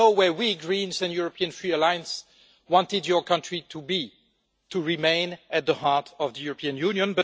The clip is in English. You know where we Greens, and the European Free Alliance, wanted your country to be to remain at the heart of the European Union.